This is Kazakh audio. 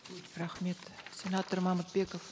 рахмет сенатор мамытбеков